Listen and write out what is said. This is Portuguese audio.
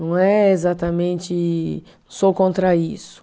Não é exatamente, sou contra isso.